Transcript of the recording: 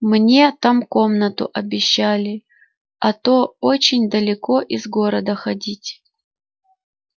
мне там комнату обещали а то очень далеко из города ходить